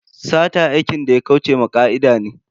Sata aikin da ya kauce wa ka'ida ne.